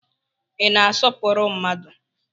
Ị na-asọpụrụ mmadu?